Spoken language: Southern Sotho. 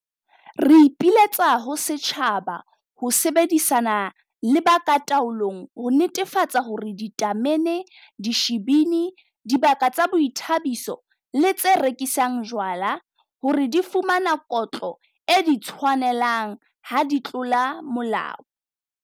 Re ipiletsa ho setjhaba ho sebedisana le ba ka taolong ho netefatsa hore ditamene, dishibini, dibaka tsa boithabiso le tse rekisang jwala hore di fumana kotlo e di tshwanelang ha di tlola molao.